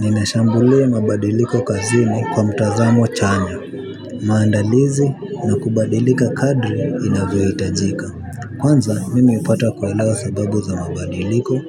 Ninashambulia mabadiliko kazini kwa mtazamo chanya, maandalizi na kubadilika kadri inavyo hitajika. Kwanza mimi hupata kuelewa sababu za mabadiliko